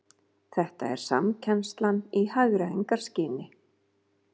Þetta er samkennslan í hagræðingarskyni